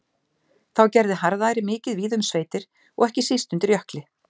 Þá gerði harðæri mikið víða um sveitir og ekki síst undir Jökli.